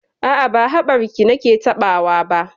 A'a, ba haɓarki nake taɓawa ba.